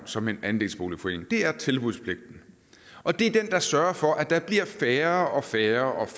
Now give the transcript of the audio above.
som en andelsboligforening det er tilbudspligten og det er den der sørger for at der bliver færre og færre